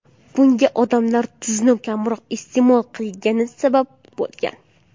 Bunga odamlar tuzni kamroq iste’mol qilgani sabab bo‘lgan.